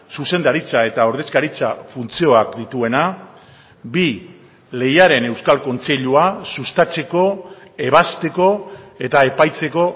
zuzendaritza eta ordezkaritza funtzioak dituena bi lehiaren euskal kontseilua sustatzeko ebazteko eta epaitzeko